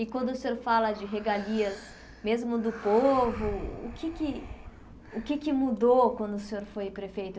E quando o senhor fala de regalias, mesmo do povo, o que é que o que é que mudou quando o senhor foi prefeito?